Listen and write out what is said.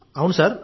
అవును సార్